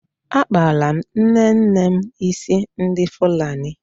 Akpara m nnenne m ísí ndị Fulani.